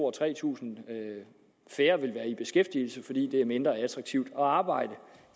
og tre tusind færre vil være i beskæftigelse fordi det er mindre attraktivt at arbejde